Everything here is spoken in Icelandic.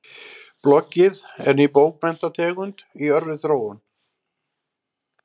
Bloggið er ný bókmenntategund í örri þróun.